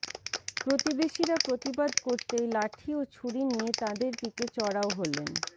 প্রতিবেশীরা প্রতিবাদ করতেই লাঠি ও ছুরি নিয়ে তাঁদের দিকে চড়াও হলেন